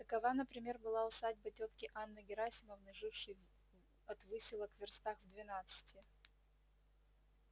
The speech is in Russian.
такова например была усадьба тётки анны герасимовны жившей от выселок вёрстах в двенадцати